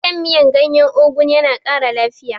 Shan miyan gyanyen ogu yana kara lafiya